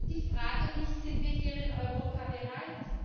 Ich frage mich Sind wir hier in Europa bereit?